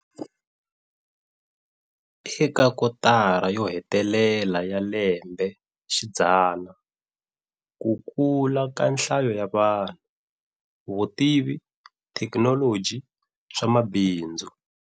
Eka kotara yo hetelela ya lembexidzana, kukula ka nhlayo ya vanhu, vutivi, thekinoloji, swamabindzu,